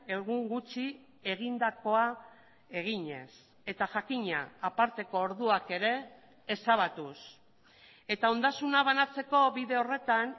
egun gutxi egindakoa eginez eta jakina aparteko orduak ere ezabatuz eta ondasuna banatzeko bide horretan